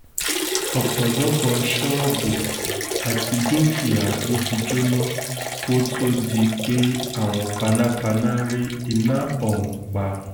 ọ̀pọ̀lọpọ̀ ṣọ́ọ̀bù àti dúkìá ló ti jóná kó tóó di pé àwọn panápaná rí iná ọ̀hún pa